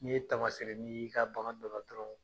N'i ye tamaseereni ye i ka bagan dɔ la dɔrɔn